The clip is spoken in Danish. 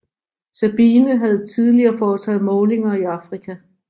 Sabine havde tidligere foretaget målinger i Afrika